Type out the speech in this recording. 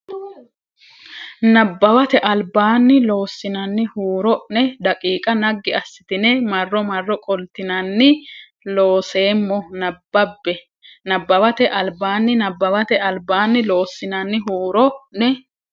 Nabbawate Albaanni Loossinanni huuro ne daqiiqa naggi assitine marro marro qoltinanni Looseemmo nabbabbe Nabbawate Albaanni Nabbawate Albaanni Loossinanni huuro ne.